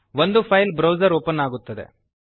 ಒಂದು file browser open ಆಗುತ್ತದೆ